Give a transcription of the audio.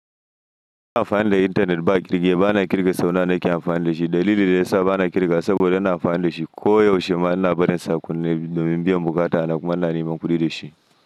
Ina amfani da intanet ba kirge ba, bana kirga saunawa nake amfani da shi. Dalili da ya sa bana kirgawa saboda ina amfani da shi koyaushe. Mana barin sa akunne domin biyan bukata na kuma ina neman kuɗi da shi.